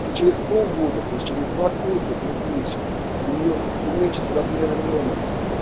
через полгода то есть через два курса трёхмесячных у нее уменьшится размеры миомы